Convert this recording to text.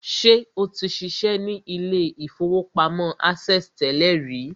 Ṣé o ti ṣiṣẹ́ ní ilé-ìfowópamọ́ access tẹ́lẹ̀ rí?